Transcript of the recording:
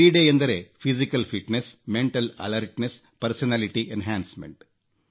ಕ್ರೀಡೆ ಎಂದರೆ ದೈಹಿಕ ಕ್ಷಮತೆ ಮಾನಸಿಕ ಸನ್ನದ್ಧತೆ ವ್ಯಕ್ತಿತ್ವ ವಿಕಸನ